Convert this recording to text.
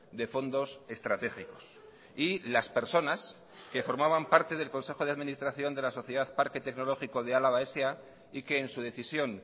de fondos estratégicos y las personas que formaban parte del consejo de administración de la sociedad parque tecnológico de álava sa y que en su decisión